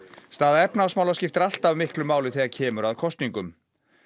staða efnahagsmála skiptir alltaf miklu máli þegar kemur að kosningum